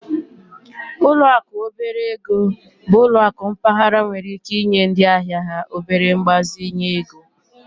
Ụlọ akụ obere ego bụ ụlọ akụ mpaghara nwere ike inye ndị ahịa ha obere mgbazinye ego